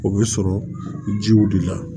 O bɛ sɔrɔ jiw de la